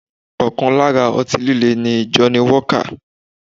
Ọkàn lára ọtí líle ni Johnny walker